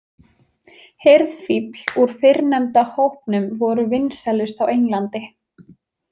Hirðfífl úr fyrrnefnda hópnum voru vinsælust á Englandi.